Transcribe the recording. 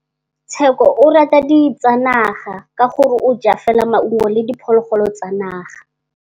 Tshekô o rata ditsanaga ka gore o ja fela maungo le diphologolo tsa naga.